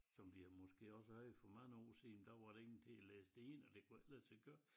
Som vi har måske også havde for mange år siden der var der ingen til at læse det ind og det kunne ikke lade sig gøre